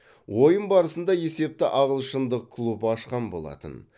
ойын барысында есепті ағылшындық клуб ашқан болатын